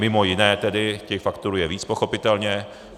Mimo jiné tedy, těch faktorů je víc, pochopitelně.